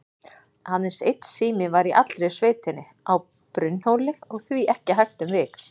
Aðeins einn sími var í allri sveitinni, á Brunnhóli, og því ekki hægt um vik.